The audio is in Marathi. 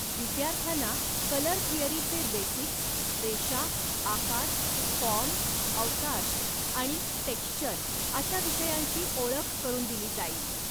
विद्यार्थ्यांना कलर थिअरीचे बेसिक्स, रेषा, आकार, फॉर्म, अवकाश, आणि टेक्स्चर अशा विषयांची ओळख करून दिली जाईल.